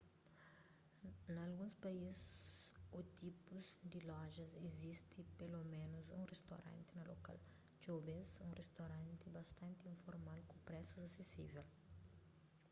na alguns país ô tipus di lojas izisti peloménus un ristoranti na lokal txeu bês un ristoranti bastanti informal ku presus asesível